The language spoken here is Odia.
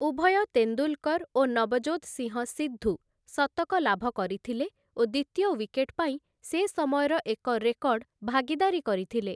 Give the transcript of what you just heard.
ଉଭୟ ତେନ୍ଦୁଲ୍‌କର୍‌ ଓ ନବଜୋତ୍‌ ସିଂହ ସିଦ୍ଧୁ ଶତକ ଲାଭ କରିଥିଲେ ଓ ଦ୍ୱିତୀୟ ୱିକେଟ୍ ପାଇଁ ସେ ସମୟର ଏକ ରେକର୍ଡ଼ ଭାଗିଦାରୀ କରିଥିଲେ ।